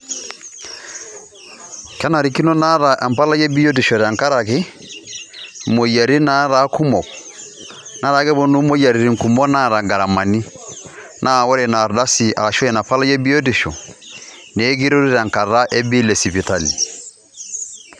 kenarikino naata empalai ebiotisho tenkaraki moyiaritin nataa kumok .netaa keponu moyiaritin kumok naata ngaramani naa ore ina ardasi ashua ina palai ebiotisho nee ekiretu tenkata e bill esipitali